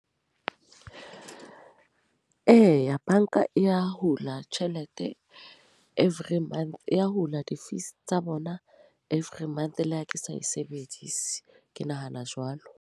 Eya, banka ya hula tjhelete e every month. Ya hula di-fees tsa bona every month le ha ke sa e sebedise. Ke nahana jwalo.